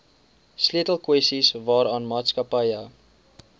sleutelkwessies waaraan maatskappye